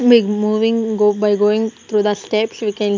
we moving go by going through the steps we can --